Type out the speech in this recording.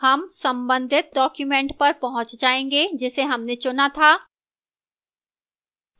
हम संबंधित document पर पहुंच जायेंगे जिसे हमने चुना था